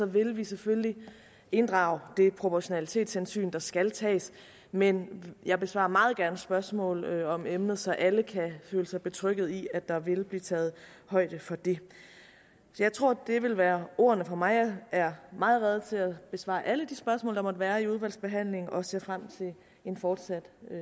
vil vi selvfølgelig inddrage det proportionalitetshensyn der skal tages men jeg besvarer meget gerne spørgsmål om emnet så alle kan føle sig betrygget i at der vil blive taget højde for det jeg tror at det vil være ordene fra mig jeg er meget rede til at besvare alle de spørgsmål der måtte være under udvalgsbehandlingen og ser frem til en fortsat